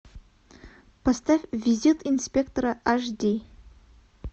поставь визит инспектора аш ди